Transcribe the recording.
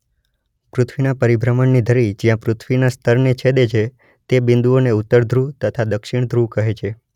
પૃથ્વીના પરિભ્રમણની ધરી જ્યાં પૃથ્વીના સ્તરને છેદે છે તે બિંદુઓને ઉત્તર ધ્રુવ તથા દક્ષિણ ધ્રુવ કહે છે.